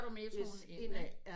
Yes ind af